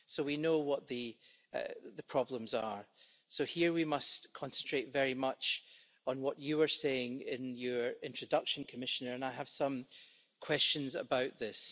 We know what the problems are, so here we must concentrate very much on what you were saying in your introduction, Commissioner, and I have some questions about this.